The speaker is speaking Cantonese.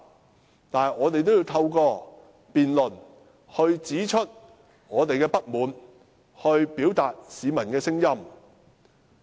儘管如此，我們也要透過辯論指出我們的不滿，表達市民的聲音。